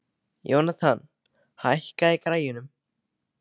Jónatan, hækkaðu í græjunum.